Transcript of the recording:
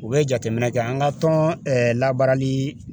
U bɛ jateminɛ kɛ an ka tɔn labaarali